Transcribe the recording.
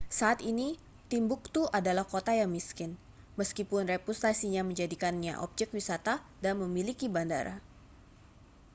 saat ini timbuktu adalah kota yang miskin meskipun reputasinya menjadikannya objek wisata dan memiliki bandara